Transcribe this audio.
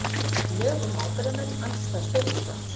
Lög um ábyrgðarmenn andstæð stjórnarskrá